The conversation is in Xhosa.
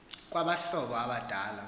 kwaba hlobo abadala